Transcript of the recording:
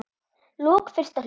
lok fyrsta hluta